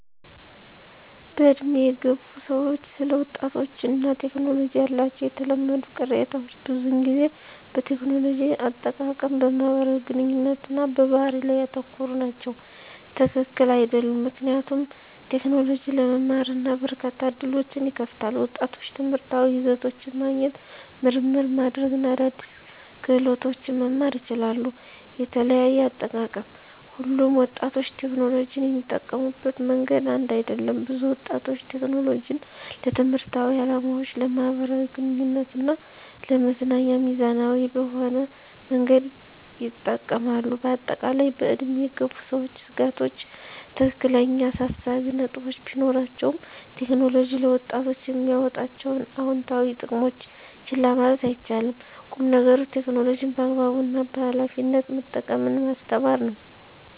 በዕድሜ የገፉ ሰዎች ስለ ወጣቶች እና ቴክኖሎጂ ያላቸው የተለመዱ ቅሬታዎች ብዙውን ጊዜ በቴክኖሎጂ አጠቃቀም፣ በማህበራዊ ግንኙነት እና በባህሪ ላይ ያተኮሩ ናቸው። # ትክክል አይደሉም ምክንያቱም: ቴክኖሎጂ ለመማር እና በርካታ ዕድሎችን ይከፍታል። ወጣቶች ትምህርታዊ ይዘቶችን ማግኘት፣ ምርምር ማድረግ እና አዳዲስ ክህሎቶችን መማር ይችላሉ። * የተለያየ አጠቃቀም: ሁሉም ወጣቶች ቴክኖሎጂን የሚጠቀሙበት መንገድ አንድ አይደለም። ብዙ ወጣቶች ቴክኖሎጂን ለትምህርታዊ ዓላማዎች፣ ለማኅበራዊ ግንኙነት እና ለመዝናኛ ሚዛናዊ በሆነ መንገድ ይጠቀማሉ። በአጠቃላይ፣ በዕድሜ የገፉ ሰዎች ስጋቶች ትክክለኛ አሳሳቢ ነጥቦች ቢኖራቸውም፣ ቴክኖሎጂ ለወጣቶች የሚያመጣቸውን አዎንታዊ ጥቅሞች ችላ ማለት አይቻልም። ቁም ነገሩ ቴክኖሎጂን በአግባቡ እና በኃላፊነት መጠቀምን ማስተማር ነው።